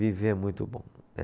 Viver é muito bom.